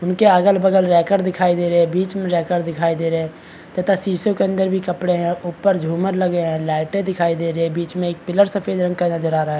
उन के अगल बगल रैकर दिखाई दे रहे हैं बीच पीछे में रेकर दिखाई दे रहे है तथा शीशों के अंदर भी कपडे है ऊपर झूमर लगे है लाइटे दिखाई दे रही है बिच में एक पिलर सफ़ेद रंग का नज़र आ रहा है।